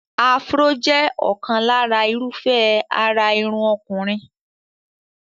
Afro jẹ́ ọ̀kan lára irúfẹ́ àrà irun ọkùnrin.